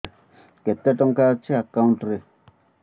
କେତେ ଟଙ୍କା ଅଛି ଏକାଉଣ୍ଟ୍ ରେ